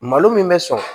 Malo min bɛ sɔrɔ